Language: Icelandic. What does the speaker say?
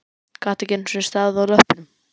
Gat ekki einu sinni staðið á löppunum!